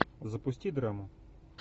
запусти драму